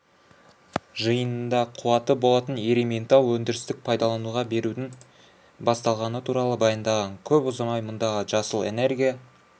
жиынында қуаты болатын ерейментау өндірістік пайдалануға берудің басталғаны туралы баяндаған көп ұзамай мұндағы жасыл энергия